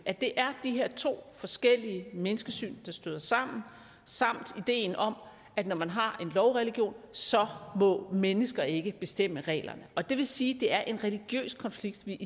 at det er de her to forskellige menneskesyn der støder sammen samt ideen om at når man har en lovreligion så må mennesker ikke bestemme reglerne det vil sige det er en religiøs konflikt vi